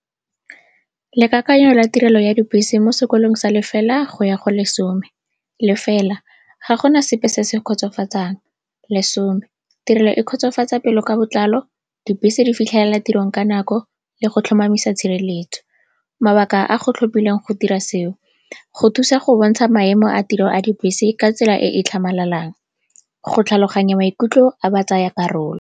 Lekakanyo la tirelo ya dibese mo sekolong sa lefela go ya go lesome. Lefela, ga gona sepe se se kgotsofatsang. Lesome, tirelo e kgotsofatsa pelo ka botlalo, dibese di fitlhelela tirong ka nako le go tlhomamisa tshireletso. Mabaka a go tlhophileng go dira seo, go thusa go bontsha maemo a tiro a dibese ka tsela e e tlhamalalang, go tlhaloganya maikutlo a batsayakarolo.